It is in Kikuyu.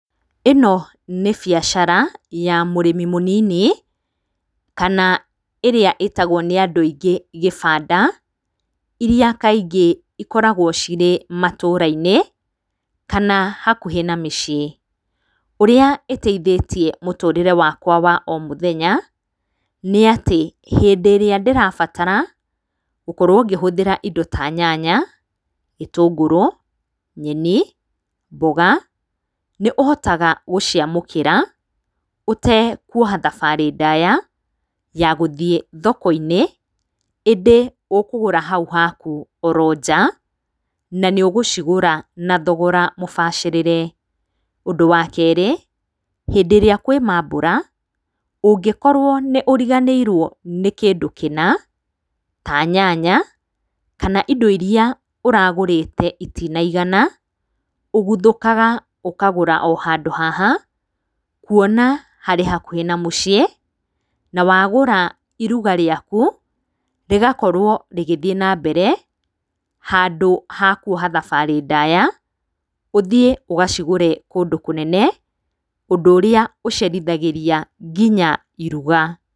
Ĩno nĩ biacara ya mũrĩmi mũnini kana ĩrĩa ĩtagwo nĩ andũ aingĩ gĩbanda iria kaingĩ ikoragwo cirĩ matũra-inĩ kana hakuhĩ na mĩciĩ. Ũrĩa ĩteithĩtie mũtũrĩre wakwa wa o mũthenya nĩ atĩ hĩndĩ ĩrĩa ndĩrabatara gũkorwo ngĩtũmĩra indo ta nyanya, gĩtũngũrũ, nyeni, mboga nĩũhotaga gũciamũkĩra ũtekuoha thabarĩ ndaya ya gũthiĩ thoko-inĩ. ĩndĩ ũkũgũra o hau haku oro nja na nĩũgũcigũra na thogora mũbacĩrĩre. Ũndũ wa kerĩ hĩndĩ ĩrĩa kũrĩ mambura ũngĩkorwo nĩ ũriganĩirwo nĩ kĩndũ kĩna ta nyanya kana indo iria ũragũrĩte itinaigana ũguthũkaga ũkagũra o handũ haha kuona harĩ hakuhĩ na mũciĩ. Na wagũra iruga rĩaku rĩgakorwo rĩgĩthiĩ na mbere handũ ha kuoha thabarĩ ndaya ũthiĩ ũgacigũre kũndũ kũnene ũndũ ũrĩa ũcerithagĩria nginya iruga.